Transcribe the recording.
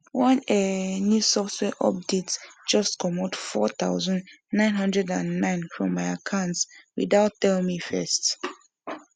one um new software update just comot four thousand nine hubdred and nine from my account without tell me first